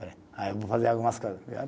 Aí eu vou fazer algumas coisas.